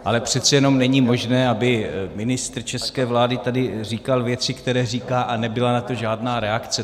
Ale přece jenom není možné, aby ministr české vlády tady říkal věci, které říká, a nebyla na to žádná reakce.